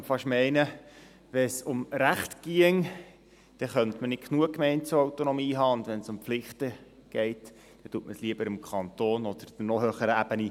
Man könnte fast meinen, wenn es um Rechte ginge, dann könnte man nicht genug Gemeindeautonomie haben, und wenn es um Pflichten geht, dann delegiert man sie lieber an den Kanton oder an die noch höhere Ebene.